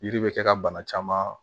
Yiri bɛ kɛ ka bana caman